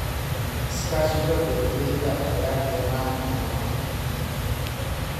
Iskaashiga beeralayda ayaa keena horumar.